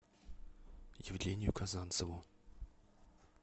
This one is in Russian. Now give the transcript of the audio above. евгению казанцеву